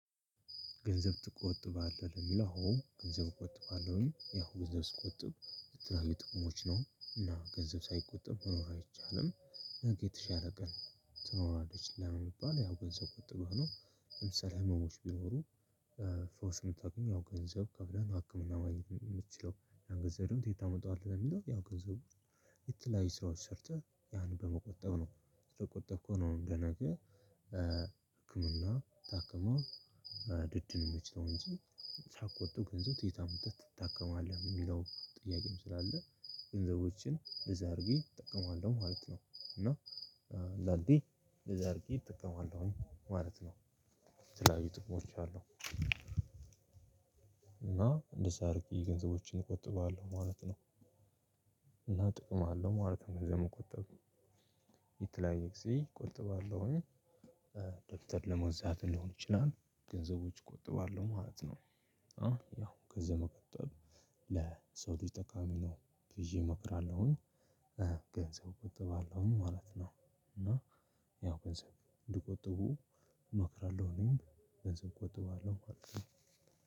ገንዘብ ትቆጥባለህ ለሚለው አወ ገንዘብ እቆጥባለሁኝ ያው ገንዘብ ስቆጥብ ለተለያዩ ጥቅሞች ነው እና ገንዘብ ሳይቆጥብ መኖር አይቻልም። ነገ የተሻለ ቀን ትኖራለች ስለሚባል ያው ገንዘብ ቆጥበው ነው ለምሳሌ ህመሞች ቢኖሩ። ፈውስ የምታገኝ ያው ገንዘብ ከፍለን ሀክምና ማግኘት የምትችለው ገንዘቡን ከየት ታመጣዋለህ? ለሚለው ያው ገንዘቡ የተለያዩ ስራዎች ሰርተህ ያን በመቆጠብ ነው። ስለቆጠብኩ ነው ለነገ። ህክምና ታክሞ ልትድን የሚችለው እንጂ ሳይቆጥብ ገንዘብ ከየት አምጥተህ ትታከማለህ የሚለው ጥያቄም ስላለ። ገንዘቦችን እንደዚህ አድርጌ እጠቀማለሁ ማለት ነው። እና ላልዴ እንደዚህ አድርጌ እጠቀማለሁኝ ማለት ነው። የተለያዩ ጥቅሞች አሉ እና እንደዛ አድርጊ ገንዘቦችን እቆጥበዋለሁ ማለት ነው። እና ጥቅም አለው ማለት ነው። ገንዘብ መቆጠብ የተለያየ ጊዜ እቆጥባለሁኝ። ደብተር ለመግዛት ሊሆን ይችላል። ገንዘቦች እቆጥባለሁ ማለት ነው። ያው ገንዘብ መቆጠብ ለሰው ልጅ ጠቃሚ ነው። ብይ እመክራለሁኝ። ገንዘብ እቆጥባለሁኝ ማለት ነው። እና ያው ገንዘብ ልቆጥብ እመክራለሁ እኔም ገንዘብ እቆጥባለሁ አልተውም።